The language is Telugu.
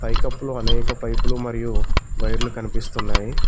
పై కప్పులో అనేక పైపులు మరియు వైర్లు కనిపిస్తున్నాయి.